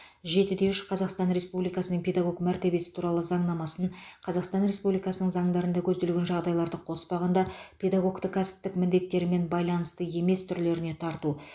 жетіде үш қазақстан республикасының педагог мәртебесі туралы заңнамасын қазақстан республикасының заңдарында көзделген жағдайларды қоспағанда педагогті кәсіптік міндеттерімен байланысты емес жұмыс түрлеріне тарту